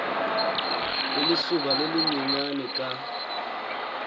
le lesoba le lenyenyane ka